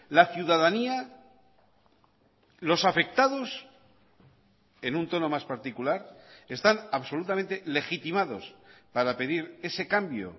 la ciudadanía los afectados en un tono más particular están absolutamente legitimados para pedir ese cambio